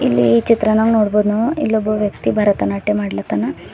ಇಲ್ಲಿ ಈ ಚಿತ್ರನಾಗ್ ನೋಡ್ಬೋದ್ ನಾವು ಇಲ್ಲೊಬ್ಬ ವ್ಯಕ್ತಿ ಭರತನಾಟ್ಯ ಮಾಡ್ಲತ್ತಾನ.